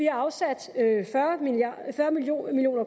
afsat fyrre million